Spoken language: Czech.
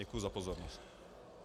Děkuji za pozornost.